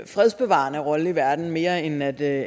fredsbevarende rolle i verden mere end at